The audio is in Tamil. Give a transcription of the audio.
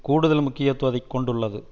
கூடுதல் முக்கியத்துவத்தை கொண்டுள்ளது